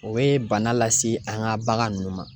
O bɛ bana lase an ka bagan ninnu ma.